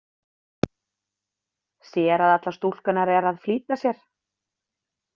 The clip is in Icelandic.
Sér að allar stúlkurnar eru að flýta sér.